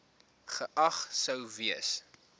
geag sou gewees